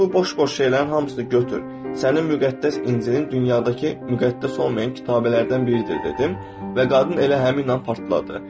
Ona bu boş-boş şeylərin hamısını götür, sənin müqəddəs İncilin dünyadakı müqəddəs olmayan kitablardan biridir dedim və qadın elə həmin an partladı.